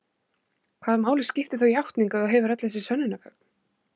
Hvaða máli skiptir þá játning ef þú hefur öll þessi sönnunargögn?